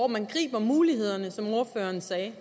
man griber mulighederne som ordføreren sagde